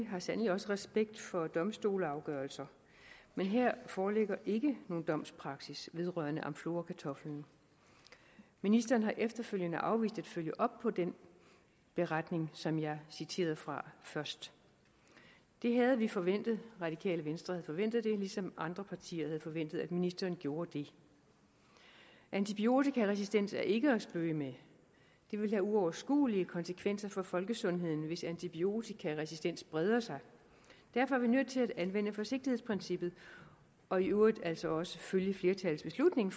har sandelig også respekt for domstolsafgørelser men her foreligger ikke nogen domspraksis vedrørende amflorakartoflen ministeren har efterfølgende afvist at følge op på den beretning som jeg citerede fra først det havde vi forventet radikale venstre havde forventet det ligesom andre partier havde forventet at ministeren gjorde det antibiotikaresistens er ikke at spøge med det vil have uoverskuelige konsekvenser for folkesundheden hvis antibiotikaresistens breder sig derfor er vi nødt til at anvende forsigtighedsprincippet og i øvrigt altså også følge flertallets beslutning